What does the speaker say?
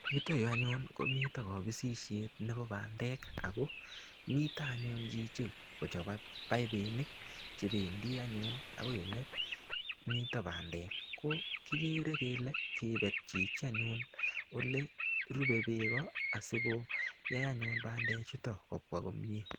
Yuto yu anyun komito kobisishet nebo bandek ako mito anyun chichi kichobe paipinik chebendi anyun akoi ole mito bandek ko kikere kele kibet chichi anyun ole rube beko asikoyai anyun bandechuto kopwa komie.